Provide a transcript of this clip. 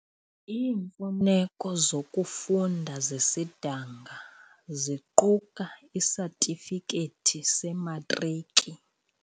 Iimfuneko zokufunda zesidanga ziquka isatifikethi sematriki.